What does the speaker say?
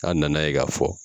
A na na ye ka fɔ